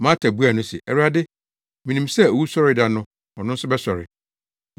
Marta buaa no se, “Awurade, minim sɛ owusɔre da no ɔno nso bɛsɔre.”